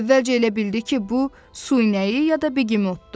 Əvvəlcə elə bildi ki, bu su inəyi ya da begemotdur.